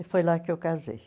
E foi lá que eu casei.